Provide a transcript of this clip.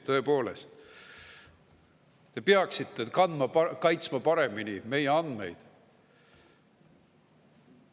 Tõepoolest, te peaksite kaitsma paremini meie andmeid.